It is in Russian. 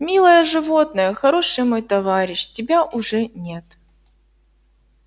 милое животное хороший мой товарищ тебя уже нет